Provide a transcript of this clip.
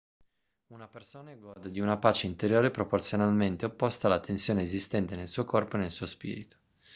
una persona gode di una pace interiore proporzionalmente opposta alla tensione esistente nel suo corpo e nel suo spirito